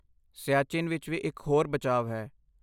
ਸਿਆਚਿਨ ਵਿੱਚ ਵੀ ਇੱਕ ਹੋਰ ਬਚਾਵ ਹੈ।